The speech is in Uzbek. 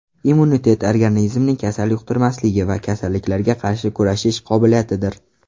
Immunitet organizmning kasal yuqtirmasligi va kasalliklarga qarshi kurashish qobiliyatidir.